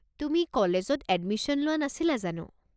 তুমি কলেজত এডমিশ্যন লোৱা নাছিলা জানো?